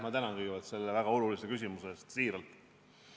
Ma tänan selle väga olulise küsimuse eest, siiralt!